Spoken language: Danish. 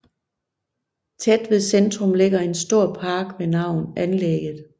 Tæt ved centrum ligger en stor park ved navn anlægget